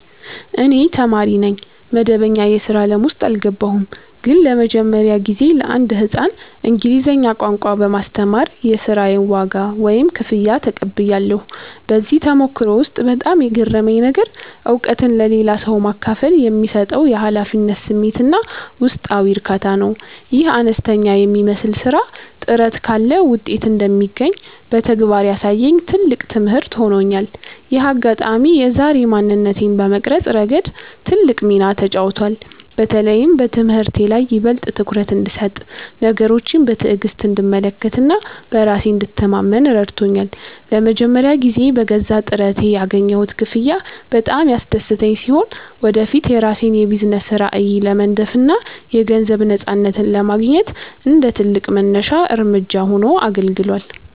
እኔ ተማሪ ነኝ፣ መደበኛ የሥራ ዓለም ውስጥ አልገባሁም። ግን ለመጀመሪያ ጊዜ ለአንድ ሕፃን እንግሊዝኛ ቋንቋ በማስተማር የሥራዬን ዋጋ (ክፍያ) ተቀብያለሁ። በዚህ ተሞክሮ ውስጥ በጣም የገረመኝ ነገር፣ እውቀትን ለሌላ ሰው ማካፈል የሚሰጠው የኃላፊነት ስሜትና ውስጣዊ እርካታ ነው። ይህ አነስተኛ የሚመስል ሥራ ጥረት ካለ ውጤት እንደሚገኝ በተግባር ያሳየኝ ትልቅ ትምህርት ሆኖኛል። ይህ አጋጣሚ የዛሬ ማንነቴን በመቅረጽ ረገድ ትልቅ ሚና ተጫውቷል። በተለይም በትምህርቴ ላይ ይበልጥ ትኩረት እንድሰጥ፣ ነገሮችን በትዕግሥት እንድመለከትና በራሴ እንድተማመን ረድቶኛል። ለመጀመሪያ ጊዜ በገዛ ጥረቴ ያገኘሁት ክፍያ በጣም ያስደሰተኝ ሲሆን፣ ወደፊት የራሴን የቢዝነስ ራዕይ ለመንደፍና የገንዘብ ነፃነትን ለማግኘት እንደ ትልቅ መነሻ እርምጃ ሆኖ አገልግሏል።